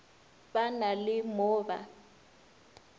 ba na le mo ba